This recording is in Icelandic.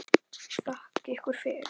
Þakka ykkur fyrir!